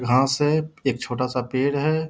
घास है एक छोटा-सा पेड़ है।